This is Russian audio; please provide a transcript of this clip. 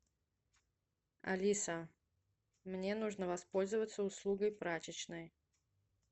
алиса мне нужно воспользоваться услугой прачечной